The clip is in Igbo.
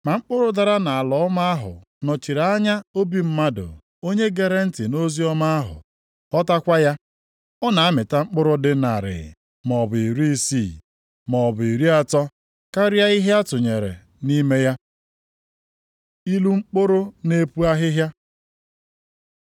Ma mkpụrụ dara nʼala ọma ahụ nọchiri anya obi mmadụ onye gere ntị nʼoziọma ahụ, ghọtakwa ya. Ọ na-amịta mkpụrụ dị narị, maọbụ iri isii, maọbụ iri atọ karịa ihe akụnyere nʼime ya.” Ilu mkpụrụ na-epu ahịhịa